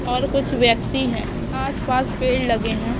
और कुछ व्यक्ति है आसपास पेड़ लगे है।